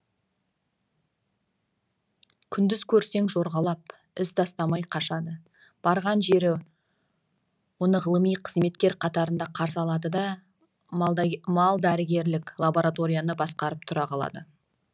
күндіз көрсең жорғалап із тастамай қашады барған жері оны ғылыми қызметкер қатарында қарсы алды да малдәрігерлік лабораторияны басқарып тұра қалады